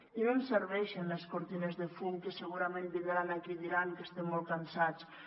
i no ens serveixen les cortines de fum que segurament vindran aquí i diran que estem molt cansats